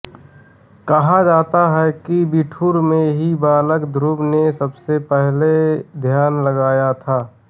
कहा जाता है कि बिठूर में ही बालक ध्रुव ने सबसे पहले ध्यान लगाया था